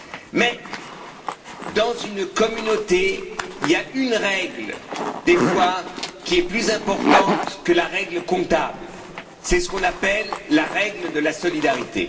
Mais, dans une communauté, il y a une règle qui, parfois, est plus importante que la règle comptable, c'est ce qu'on appelle la règle de la solidarité.